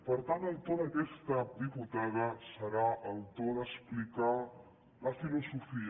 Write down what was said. per tant el to d’aquesta diputada serà el to d’explicar la filosofia